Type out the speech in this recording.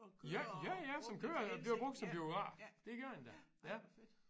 Ja ja ja som kører den bliver brugt som biograf det gør den da ja